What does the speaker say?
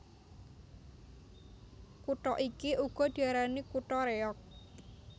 Kutha iki uga diarani kutha Réyog